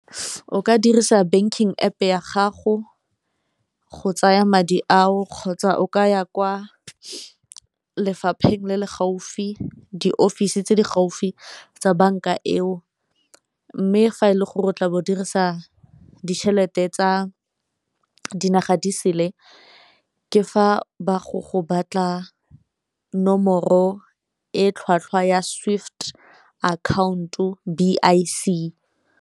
O ka dirisa banking App e ya gago go tsaya madi ao kgotsa o ka ya kwa lefapheng le le gaufi diofisi tse di gaufi tsa banka eo, mme fa e le gore tla bo o dirisa ditšhelete tsa dinaga di sele ke fa ba go go batla nomoro e tlhwatlhwa ya swift account-o B_I_C.